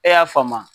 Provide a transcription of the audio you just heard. E y'a faamu wa